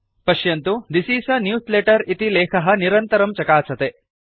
पश्यन्तु this is a newsletter इति लेखः निरन्तरं चकासते